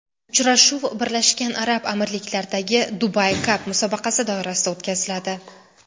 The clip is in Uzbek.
Uchrashuv Birlashgan Arab Amirliklaridagi Dubai Cup musobaqasi doirasida o‘tkaziladi.